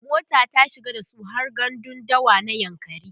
mota ta shiga dasu har gandun dawa na yankari